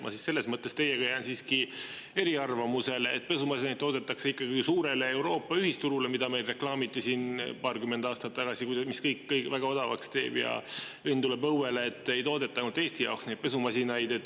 Ma selles mõttes teiega jään siiski eriarvamusele, et pesumasinaid toodetakse ikkagi suurele Euroopa ühisturule, mida meil reklaamiti siin paarkümmend aastat tagasi, mis kõik väga odavaks teeb ja õnn tuleb õuele, ei toodeta ainult Eesti jaoks neid pesumasinaid.